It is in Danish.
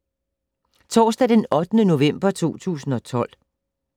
Torsdag d. 8. november 2012